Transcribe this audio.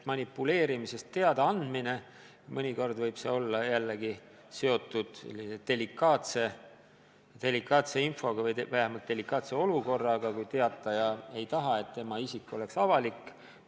Manipuleerimisest teadaandmine võib olla seotud delikaatse infoga või vähemalt delikaatse olukorraga, kui teataja ei taha, et tema isik oleks avalikkusele teada.